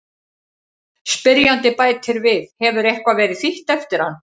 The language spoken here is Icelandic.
Spyrjandi bætir við: Hefur eitthvað verið þýtt eftir hann?